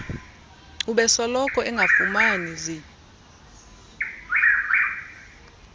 ubesoloko engafumani zi